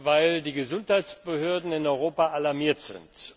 weil die Gesundheitsbehörden in Europa alarmiert sind.